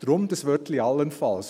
Darum das Wörtchen «allenfalls».